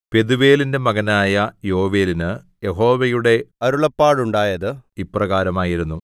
പെഥൂവേലിന്റെ മകനായ യോവേലിന് യഹോവയുടെ അരുളപ്പാടുണ്ടായത് ഇപ്രകാരമായിരുന്നു